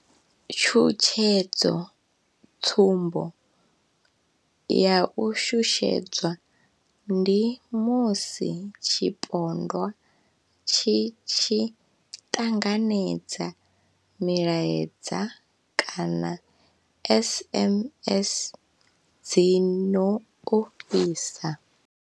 Tshutshedzo, tsumbo ya u shushedzwa ndi musi tshipondwa tshi tshi ṱanganedza milaedza kana SMS dzi no ofhisa.